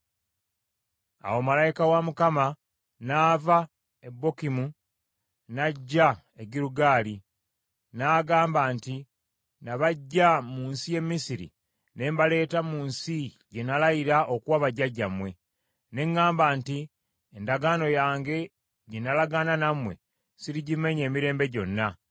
Awo Malayika wa Mukama n’ava e Bokimu n’ajja e Girugaali, n’agamba nti, “Nabaggya mu nsi y’e Misiri ne mbaleeta mu nsi gye nalayira okuwa bajjajjammwe; ne ŋŋamba nti, ‘Endagaano yange gye nalagaana nammwe sirigimenya emirembe gyonna;